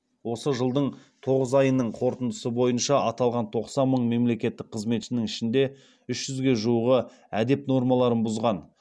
осы жылдың тоғыз айының қорытындысы бойынша аталған тоқсан мың мемлекеттік қызметшінің ішінде үш жүзге жуығы әдеп нормаларын бұзған